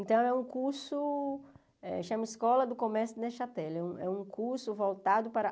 Então é um curso, chama Escola do Comércio Nechatele, é um curso voltado para...